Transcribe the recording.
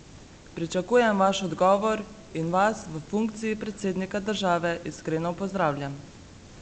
Pričakujem vaš odgovor in vas v funkciji predsednika države iskreno pozdravljam!